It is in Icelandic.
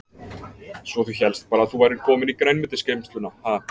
Svo þú hélst bara að þú værir komin í grænmetisgeymsluna, ha.